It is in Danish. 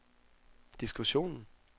diskussionen